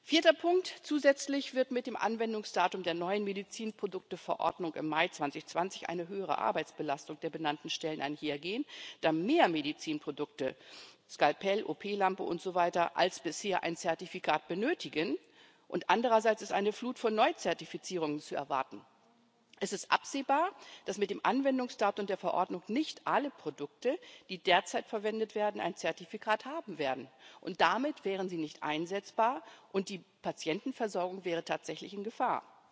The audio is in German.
Vierter Punkt Zusätzlich wird mit dem Anwendungsdatum der neuen Medizinprodukteverordnung im Mai 2020 eine höhere Arbeitsbelastung der benannten Stellen einhergehen, da mehr Medizinprodukte Skalpell, OP Lampe und so weiter als bisher ein Zertifikat benötigen, und andererseits eine Flut von Neuzertifizierungen zu erwarten ist. Es ist absehbar, dass mit dem Anwendungsdatum der Verordnung nicht alle Produkte, die derzeit verwendet werden, ein Zertifikat haben werden, und damit wären sie nicht einsetzbar, und die Patientenversorgung wäre tatsächlich in Gefahr.